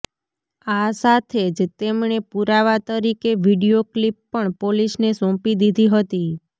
આ સાથે જ તેમણે પુરાવા તરીકે વીડિયો ક્લિપ પણ પોલીસને સોંપી દીધી હતી